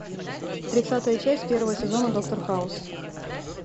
тридцатая часть первого сезона доктор хаус